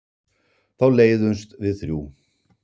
Þá leiðumst við þrjú.